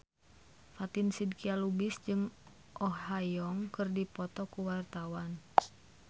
Fatin Shidqia Lubis jeung Oh Ha Young keur dipoto ku wartawan